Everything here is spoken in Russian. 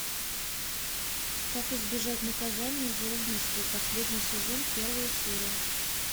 как избежать наказания за убийство последний сезон первая серия